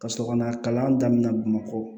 Ka sɔrɔ ka na kalan daminɛ bamakɔ